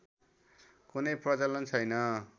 कुनै प्रचलन छैन